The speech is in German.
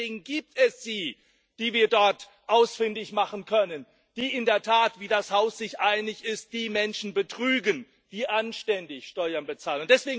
Nur deswegen gibt es sie, die wir dort ausfindig machen können, die in der Tat wie das Haus sich einig ist die Menschen betrügen, die anständig Steuern bezahlen.